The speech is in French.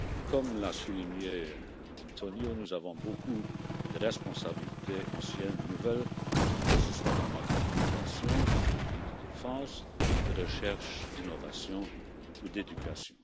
Comme l'a souligné António, nous avons beaucoup de responsabilités, anciennes ou, nouvelles, que ce soit en matière d'immigration, de politique de défense, de recherche, d'innovation ou d'éducation.